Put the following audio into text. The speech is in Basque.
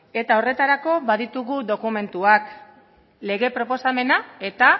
eta horretarako baditugu dokumentuak lege proposamena eta